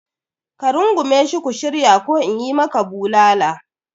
Ka rungume shi ku shirya ko in yi maka bulala!